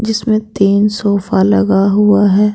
इसमें तीन सोफा लगा हुआ है।